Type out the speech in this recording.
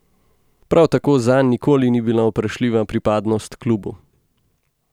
Prav tako zanj nikoli ni bila vprašljiva pripadnost klubu.